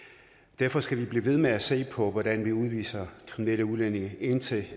derfor skal vi blive ved med at se på hvordan vi udviser kriminelle udlændinge indtil